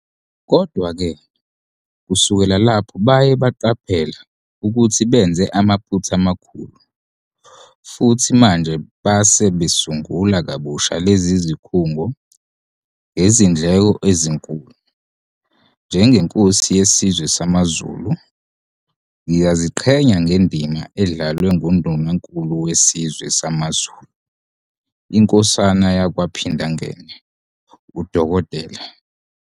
Kodwa-ke, kusukela lapho baye baqaphela ukuthi benza amaphutha amakhulu futhi manje base besungula kabusha lezi zikhungo ngezindleko ezinkulu. NjengeNkosi yeSizwe samaZulu Ngiyaziqhenya ngendima edlalwe nguNdunankulu weSizwe samaZulu, iNkosana yaKwaPhindangene, uDkt.